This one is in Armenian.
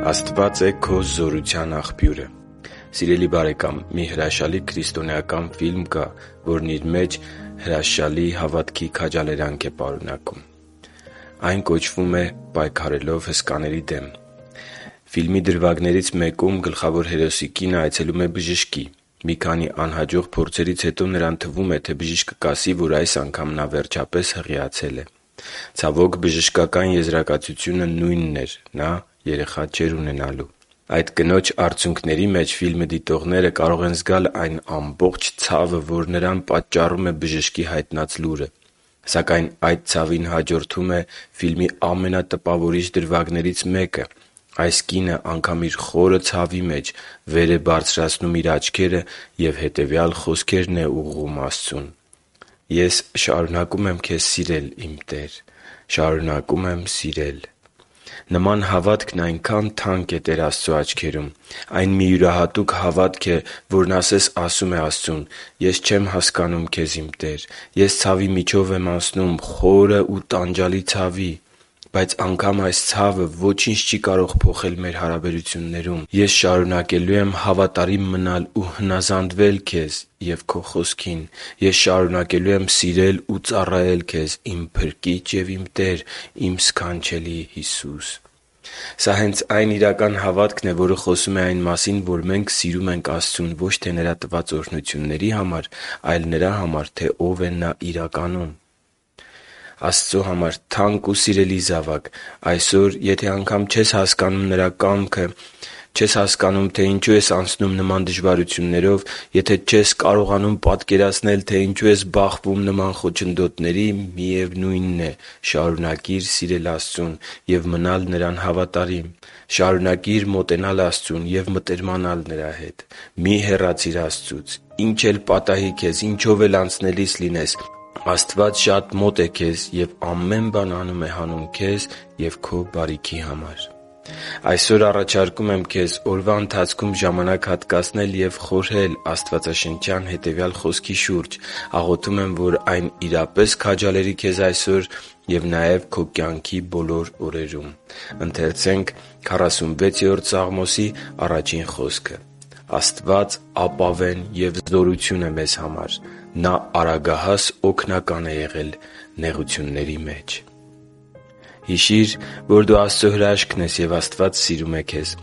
Աստված է քո զորության Աղբյուրը Սիրելի՛ բարեկամ, մի հրաշալի քրիստոնեական ֆիլմ կա, որի մեջ հավատքի մեծ քաջալերանք կա։ Այն կոչվում է «Պայքարելով հսկաների դեմ»։ Ֆիլմի դրվագներից մեկում գլխավոր հերոսի կինը այցելում է բժշկի։ Մի քանի անհաջող փորձերից հետո նրան թվում է, թե բժիշկը կասի, որ այս անգամ նա վերջապես հղիացել է։ Ցավոք, բժշկական եզրակացությունը նույնն էր. նա երեխա չէր ունենալու։ Այդ կնոջ արցունքների մեջ ֆիլմը դիտողները կարող են զգալ այն ամբողջ ցավը, որ նրան պատճառում է բժշկի հայտնած լուրը։ Սակայն այդ ցավին հաջորդում է ֆիլմի ամենատպավորիչ դրվագներից մեկը։ Այս կինը անգամ իր խորը ցավի մեջ, վեր է բարձրացնում իր աչքերը և հետևյալ խոսքերն է ուղղում Աստծուն. «Ես շարունակում եմ Քեզ սիրել, իմ Տեր, շարունակում եմ սիրել․․․»։ Նման հավատքն այնքա՜ն թանկ է Տեր Աստծո աչքերում․․․ Այն մի յուրահատուկ հավատք է, որն ասես ասում է Աստծուն. «Ես չեմ հասկանում Քեզ, իմ Տե՛ր, ես ցավի միջով եմ անցնում՝ խորը ու տանջալի ցավի․․․ Բայց անգամ իմ այս ցավը ոչինչ չի կարող փոխել։ Ես շարունակելու եմ հավատարիմ մնալ ու հնազանդվել Քեզ և Քո Խոսքին։ Ես շարունակելու եմ սիրել ու ծառայել Քեզ, իմ Փրկիչ և Տեր, իմ սքանչելի՛ Հիսուս»։ Սա հենց այն իրական հավատքն է, որը խոսում է այն մասին, որ մենք սիրում ենք Աստծուն ոչ թե Նրա տված օրհնությունների համար, այլ նրա համար, թե Ով է Նա իրականում։ Աստծո համար թանկ ու սիրելի՛ զավակ, այսօր, եթե անգամ չես հասկանում Նրա կամքը, չես հասկանում, թե ինչու ես անցնում նման դժվարություններով, եթե չես կարողանում պատկերացնել, թե ինչու ես բախվում նման խոչընդոտների․․․ միևնույնն է, շարունակի՛ր սիրել Աստծուն և մնալ Նրան հավատարիմ։ Շարունակի՛ր մոտենալ ու մտերմանալ Աստծու հետ։ Մի՛ հեռացիր Նրանից՝ ինչ էլ պատահի քեզ, ինչով էլ անցնելիս լինես․․․ Աստված շատ մոտ է քեզ և ամեն բան անում է հանուն քեզ և քո բարիքի համար։ Այսօր առաջարկում եմ քեզ օրվա ընթացքում ժամանակ հատկացնել ու խորհել աստվածաշնչյան այս խոսքի շուրջ։ Աղոթում եմ, որ այն իրապես քաջալերի քեզ այսօր և քո կյանքի բոլոր օրերում: «Աստված ապավեն և զորություն է մեզ համար. նա արագահաս օգնական է եղել նեղությունների մեջ» (Սաղմոս 46.1): Հիշի՛ր, որ դու Աստծո հրաշքն ես, և Աստված սիրում է քեզ։